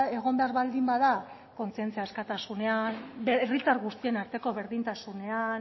egon behar baldin bada kontzientzia askatasunean herritar guztien arteko berdintasunean